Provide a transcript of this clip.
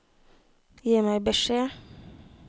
Gi meg beskjed